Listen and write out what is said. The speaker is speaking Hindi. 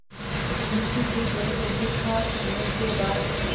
मुंशी जी डेढ़ रोटी खा चुकने के बाद